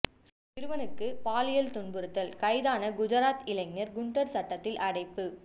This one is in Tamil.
சிறுவனுக்கு பாலியல் துன்புறுத்தல் கைதான குஜராத் இளைஞா் குண்டா் சட்டத்தில் அடைப்பு